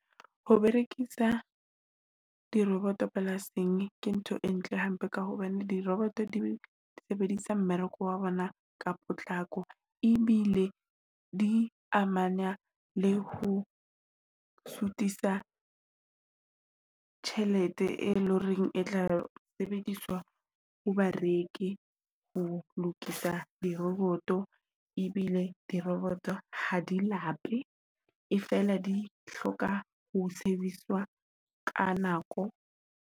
Ho berekisa diroboto polasing ke ntho e ntle hampe ka hobane diroboto di sebedisa mmereko wa bona ka potlako, e bile di amana le ho sutisa tjhelete, e leng hore e tla sebediswa ho bareki ho lokisa diroboto e bile diroboto ha di hape e fela di hloka ho service-swa ka nako.